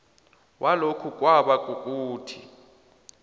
walokhu kwaba kukuthi